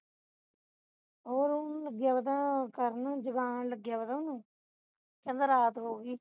ਹੋਰ ਉਹਨੂੰ ਲਗਿਆ ਪਤਾ ਕਰਨ ਨੂੰ ਜਗਾਉਣ ਲਗੇਆ ਪਤਾ ਕਹਿੰਦਾ ਰਾਤ ਹੋ ਗਈ